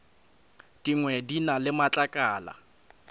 dingwe di na le matlakala